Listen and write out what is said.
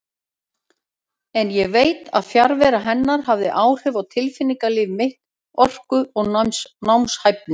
En ég veit að fjarvera hennar hafði áhrif á tilfinningalíf mitt, orku og námshæfni.